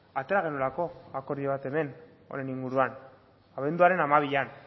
atera genuelako akordio bat hemen honen inguruan abenduaren hamabian